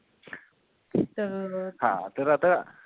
तर हा तर आता